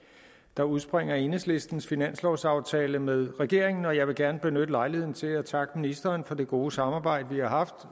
der udspringer af enhedslistens finanslovsaftale med regeringen og jeg vil gerne benytte lejligheden til at takke ministeren for det gode samarbejde vi har